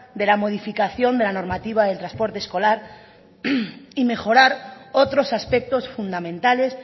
de la modificación de la normativa del transporte escolar y mejorar otros aspectos fundamentales